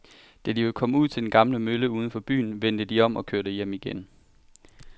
Da de var kommet ud til den gamle mølle uden for byen, vendte de om og kørte hjem igen.